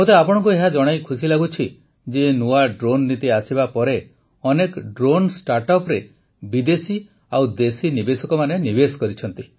ମୋତେ ଆପଣଙ୍କୁ ଏହା ଜଣାଇ ଖୁସି ଲାଗୁଛି ଯେ ନୂଆ ଡ୍ରୋନ୍ ନୀତି ଆସିବା ପରେ ଅନେକ ଡ୍ରୋନ୍ ଷ୍ଟାର୍ଟଅପରେ ବିଦେଶୀ ଓ ଦେଶୀ ନିବେଶକମାନେ ନିବେଶ କରିଛନ୍ତି